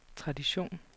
tradition